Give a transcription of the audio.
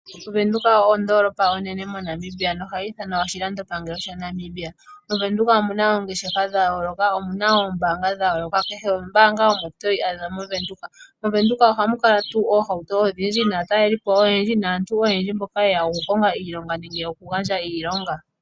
OWindhoek oyo ondoolopa onene moNamibia no hayi ithanwa oyo oshilandopangelo shaNamibia. MoVenduka omuna oongeshefa dha yooloka, omuna oombaanga dha yooloka kehe ombaanga omo toyi adha moVenduka. MoVenduka ohamu kala tuu ohauto odhindji naataleli po oyendji, naantu oyendji mboka ye ya oku konga iilonga nenge oku gandja iilonga.